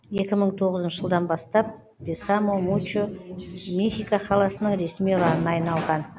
екі мың тоғызыншы жылдан бастап бесамо мучо мехико қаласының ресми ұранына айналған